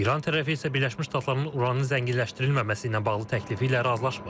İran tərəfi isə Birləşmiş Ştatların uranı zənginləşdirilməməsi ilə bağlı təklifi ilə razılaşmır.